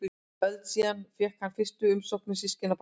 Öld síðar fékk hann fyrstu umsóknir systkinabarna.